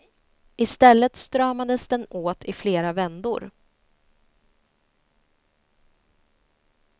I stället stramades den åt i flera vändor.